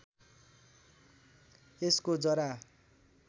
यसको जरा